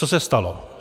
Co se stalo?